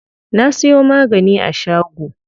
Na siyo magani a shago.